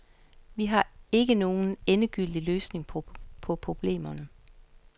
Vi har ikke nogle endegyldige løsninger på problemerne.